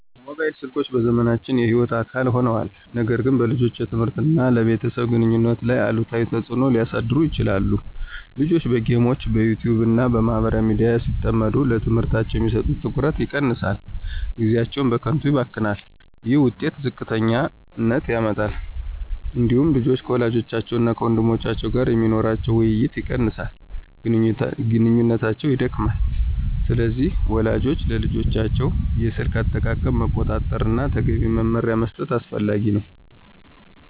ሞባይል ስልኮች በዘመናችን የሕይወት አካል ሆነዋል፣ ነገር ግን በልጆች የትምህርት እና በቤተሰብ ግንኙነት ላይ አሉታዊ ተጽዕኖ ሊያሳድሩ ይችላሉ። ልጆች በጌሞች፣ በYouTube እና በማህበራዊ ሚዲያ ሲጠመዱ ለትምህርታቸው የሚሰጡት ትኩረት ይቀንሳል፣ ጊዜያቸውም በከንቱ ይባክናል። ይህ የውጤታቸውን ዝቅተኛነት ያመጣል። እንዲሁም ልጆች ከወላጆቻቸው እና ከወንድሞቻቸው ጋር የሚኖራቸው ውይይት ይቀንሳል፣ ግንኙነታቸውም ይደክማል። ስለዚህ ወላጆች የልጆቻቸውን የስልክ አጠቃቀም መቆጣጠር እና ተገቢ መመሪያ መስጠት አስፈላጊ ነው።